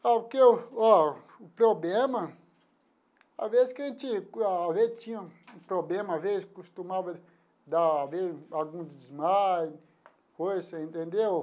Porque oh o problema, às vezes que a gente tinha um problema, às vezes costumava dar algum desmaio, coisa assim, entendeu?